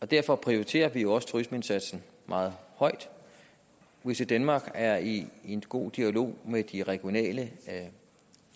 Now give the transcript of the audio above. derfor prioriterer vi også turismeindsatsen meget højt visitdenmark er i god dialog med de regionale